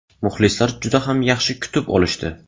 Muxlislar juda ham yaxshi kutib olishdi.